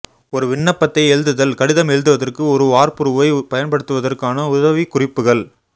ஒரு விண்ணப்பத்தை எழுதுதல் கடிதம் எழுதுவதற்கு ஒரு வார்ப்புருவைப் பயன்படுத்துவதற்கான உதவிக்குறிப்புகள்